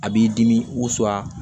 A b'i dimi waso la